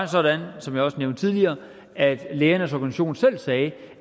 sådan som jeg også nævnte tidligere at lægernes organisation selv sagde